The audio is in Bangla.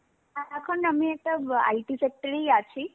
এ~ এখন আমি একটা ব IT sector এই আছি.